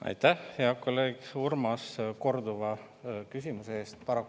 Aitäh, hea kolleeg Urmas, korduva küsimuse eest!